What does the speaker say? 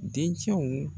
Dencɛw